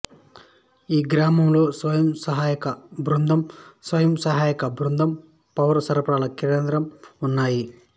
ఈ గ్రామంలో స్వయం సహాయక బృందం స్వయం సహాయక బృందం పౌర సరఫరాల కేంద్రం ఉన్నాయి